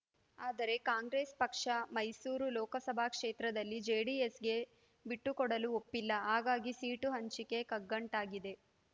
ಆದರೆ ಕಾಂಗ್ರೆಸ್ ಪಕ್ಷ ಮೈಸೂರು ಲೋಕಸಭಾ ಕ್ಷೇತ್ರದಲ್ಲಿ ಜೆಡಿಎಸ್‌ಗೆ ಬಿಟ್ಟುಕೊಡಲು ಒಪ್ಪಿಲ್ಲ ಹಾಗಾಗಿ ಸೀಟು ಹಂಚಿಕೆ ಕಗ್ಗಂಟಾಗಿದೆ